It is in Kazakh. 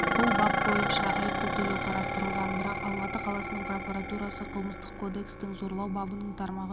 бұл бап бойынша айыппұл төлеу қарастырылған бірақ алматы қаласының прокуратурасы қылмыстық кодекстің зорлау бабының тармағы